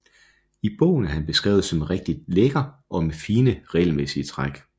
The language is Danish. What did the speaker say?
I bogen er han beskrevet som rigtig lækker og med fine og regelmæssige træk